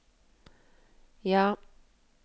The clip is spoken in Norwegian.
ja